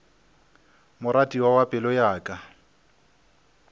moratiwa wa pelo ya ka